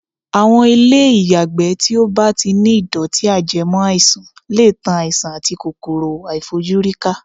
Àwọn ilé ìyàgbẹ́ tí ó bá ti ní ìdọ̀tí-ajẹmọ́-àìsàn lè tan àìsàn àti kòkòrò-àìfojúrí ká.